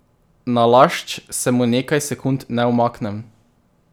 Nalašč se mu nekaj sekund ne umaknem.